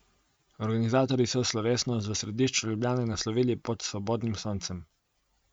Organizatorji so slovesnost v središču Ljubljane naslovili Pod svobodnim soncem.